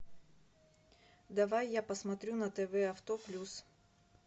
давай я посмотрю на тв авто плюс